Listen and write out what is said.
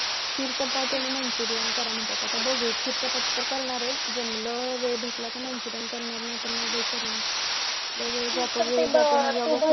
खीर चपाती आणि manchurian करा म्हणतायत आता तर बघू खीर चपाती तर करणार आहे जमलं वेळ भेटला तर मग manchurian करणार नाहीतर नाही बाई करणार लई वेळ जातो